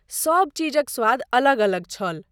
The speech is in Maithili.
सब चीजक स्वाद अलग अलग छल।